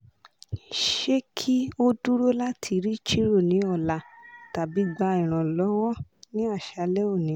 ṣe ki oduro lati ri chiro ni ọ̀la tabi gba iranlọ́wọ́ ni aṣalẹ́ oni